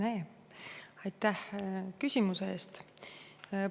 Hea Rene, aitäh küsimuse eest!